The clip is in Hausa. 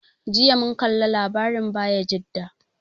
Jiya mun kalla labarin Bayajida.